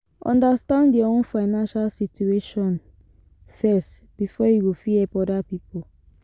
Understand your own financial situation first before you go fit help oda pipo